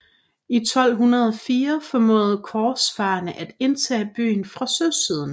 I 1204 formåede korsfarerne at indtage byen fra søsiden